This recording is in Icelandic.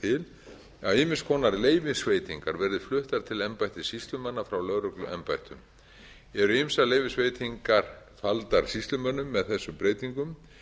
til að ýmiss konar leyfisveitingar verði fluttar til embætta sýslumanna frá lögregluembættum eru ýmsar leyfisveitingar faldar sýslumönnum með þessum breytingum